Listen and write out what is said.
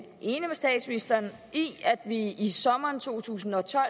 enig med statsministeren i at vi i sommeren to tusind og tolv